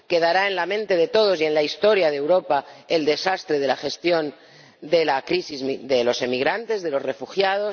Quedará en la mente de todos y en la historia de Europa el desastre de la gestión de la crisis de los inmigrantes, de los refugiados.